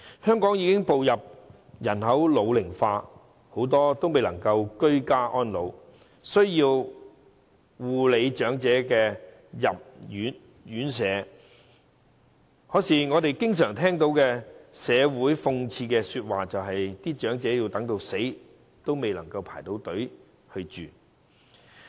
香港已經步入人口老齡化，很多未能居家安老及需要護理的長者均要入住院舍，但諷刺的是，我們常聽到社會說：長者等到死，也未能入住院舍。